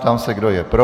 Ptám se, kdo je pro.